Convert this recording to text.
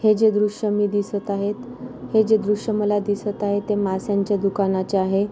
हे जे दृश्य मे दिसत आहेत हे जे दृश्य माला दिसत आहे ते मास्यांचे दुकानाचे आहे.